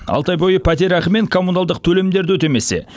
алты ай бойы пәтерақы мен коммуналдық төлемдерді өтемесе